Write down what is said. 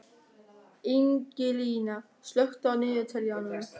Ingilín, slökktu á niðurteljaranum.